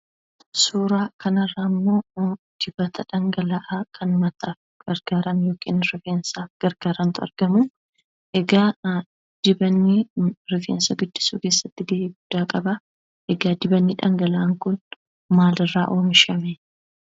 Suuraa kanarraammoo dibata dhangala'aa kan mataaf gargaaran yookiin immoo rifeensaaf gargaarantu argamaa. Egaa dibannii rifeensa guddisuu keessatti ga'ee guddaa qabaa. Egaa dibanni dhangala'aan kun maalirraa oomishame?